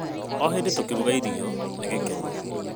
O hĩndĩ tũkĩruga irio, nĩ gĩkeno.